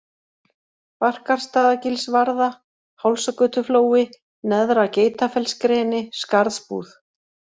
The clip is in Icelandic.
Barkarstaðagilsvarða, Hálsagötuflói, Neðra-Geitafellsgreni, Skarðsbúð